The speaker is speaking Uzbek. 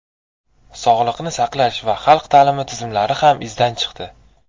Sog‘liqni saqlash va xalq ta’limi tizimlari ham izdan chiqdi.